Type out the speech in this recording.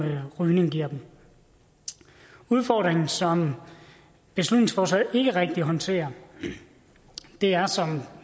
rygning giver dem udfordringen som beslutningsforslaget ikke rigtig håndterer er som